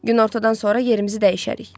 Günortadan sonra yerimizi dəyişərik.